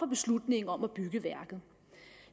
beslutningen om at bygge værket